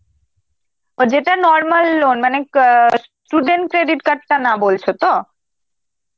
আর যেটা normal loan মানে ক~ অ্যাঁ student credit card টা না বলছো তো?